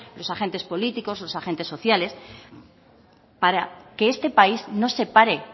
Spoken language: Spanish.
los agentes políticos los agentes sociales para que este país no se pare